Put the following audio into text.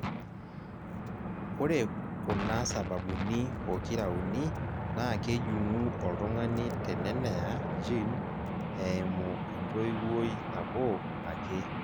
ore kuna sababunii pokira uni naa kejung'u oltungsni teneneya gene eimu entoiwoi nabo ake.